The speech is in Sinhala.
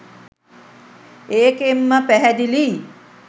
ඒකෙන්ම පැහැදිලියි